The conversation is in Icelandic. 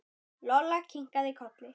Lolla kinkaði kolli.